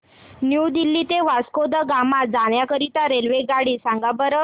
new Delhi ते Vasco da Gama जाण्या करीता रेल्वेगाडी सांगा बरं